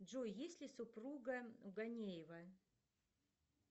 джой есть ли супруга у ганеева